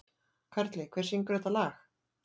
Karli, hver syngur þetta lag?